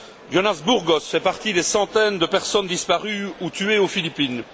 Jonas Burgos fait partie des centaines de personnes disparues ou tuées aux Philippines.